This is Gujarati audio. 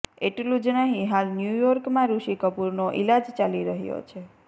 એટલું જ નહીં હાલ ન્યુર્યોર્કમાં ઋષિ કપૂરનો ઇલાજ ચાલી રહ્યો છે